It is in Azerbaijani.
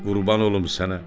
Qurban olum sənə.